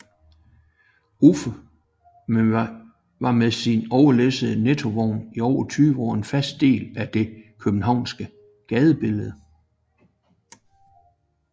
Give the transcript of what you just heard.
Uffe var med sin overlæssede Nettovogn i over 20 år en fast del af det københavnske gadebillede